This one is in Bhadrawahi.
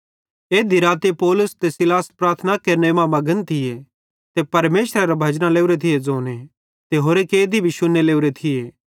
एध्धी राती पौलुस ते सीलास प्रार्थना केरने मां मघन थिये ते परमेशरेरां भजना लोरे थी ज़ोने ते होरे कैदी भी शुन्ने लोरे थिये